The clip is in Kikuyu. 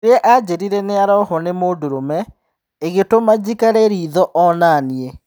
Rĩria anjĩrire nĩ-arohwo nĩ mũndũrũme, ĩgĩtũma njikare ritho o-naniĩ.